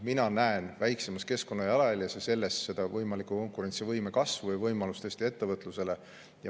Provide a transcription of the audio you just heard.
Mina näen väiksemas keskkonnajalajäljes ja kõiges selles võimalikku konkurentsivõime kasvu ja võimalust Eesti ettevõtlusele.